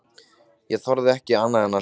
Ég þorði ekki annað en að hlýða.